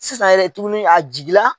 Sisan yɛrɛ tuguni a jigi la